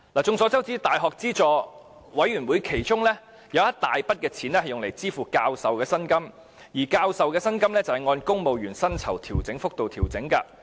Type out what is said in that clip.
眾所周知，大學資助教育委員會其中一大筆款項是用於支付教授的薪金，而教授的薪金是按公務員薪酬調整幅度調整的。